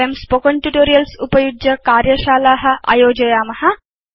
वयं spoken tutorials उपयुज्य कार्यशाला आयोजयाम